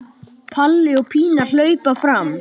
Palli og Pína hlaupa fram.